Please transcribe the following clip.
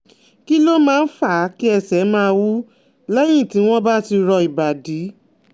Kí ló máa ń fa kí ẹsẹ̀ máa wú lẹ́yìn tí wọ́n bá ti rọ ìbàdí?